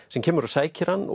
sem kemur og sækir hann